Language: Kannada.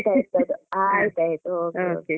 ಆಯ್ತ್ ಆಯ್ತು ಆಯ್ತ್ ಆಯ್ತು okay, okay .